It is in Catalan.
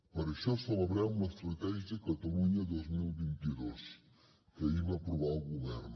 per això celebrem l’estratègia catalunya dos mil vint dos que ahir va aprovar el govern